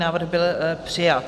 Návrh byl přijat.